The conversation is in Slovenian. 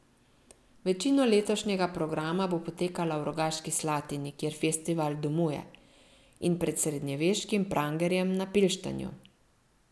Večina letošnjega programa bo potekala v Rogaški Slatini, kjer festival domuje, in pred srednjeveškim prangerjem na Pilštanju.